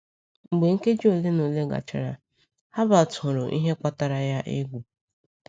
Mgbe nkeji ole na ole gachara, Herbert hụrụ ihe kpatara ya egwu.